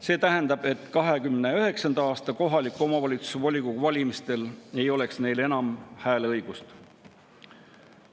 See tähendab, et 2029. aasta kohaliku omavalitsuse volikogu valimistel ei oleks neil enam hääleõigust.